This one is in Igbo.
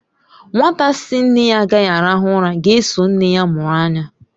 Nwata sị nne ya agaghị arahu ura ga-eso nne ya mụrụ anya.